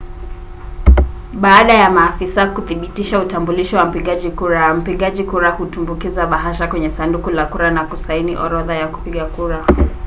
baada ya maafisa kuthibitisha utambulisho wa mpigaji kura mpigaji kura hutumbukiza bahasha kwenye sanduku la kura na kusaini orodha ya kupiga kura